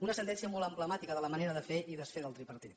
una sentència molt emblemàtica de la manera de fer i desfer del tripartit